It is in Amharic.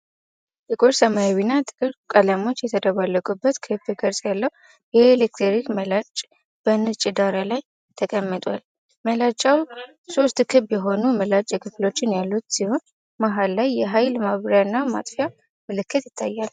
ጥቁር ሰማያዊና ጥቁር ቀለሞች የተደባለቁበት ክብ ቅርጽ ያለው የኤሌክትሪክ መላጫ በነጭ ዳራ ላይ ተቀምጧል። መላጫው ሶስት ክብ የሆኑ ምላጭ ክፍሎች ያሉት ሲሆን፤ መሃል ላይ የኃይል ማብሪያና ማጥፊያ ምልክት ይታያል።